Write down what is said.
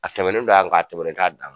A tɛmɛnen don an ka a tɛmɛnen t'a dan